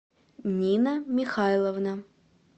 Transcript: нина михайловна